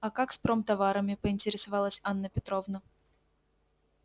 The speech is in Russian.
а как с промтоварами поинтересовалась анна петровна